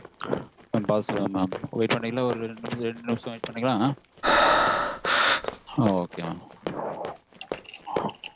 mam பாத்துட்டு சொல்றேன் ஒரு ரெண்டு நிமிஷம் wait பண்றீங்களா?